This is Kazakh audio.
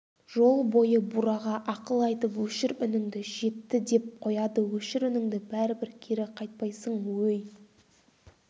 жол бойы бураға ақыл айтып өшір үніңді жетті деп қояды өшір үніңді бәрібір кері қайтпайсың өй